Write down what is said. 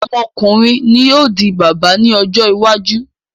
Ọmọkùnrin ni ó ń di bàbá ní ọjọ́ iwájú